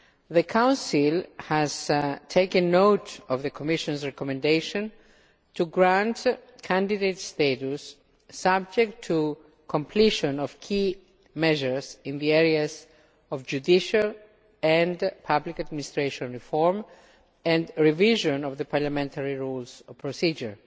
The Council has taken note of the Commission's recommendation to grant candidate status, subject to completion of key measures in the areas of judicial and public administration reform, and revision of the parliamentary rules of procedure.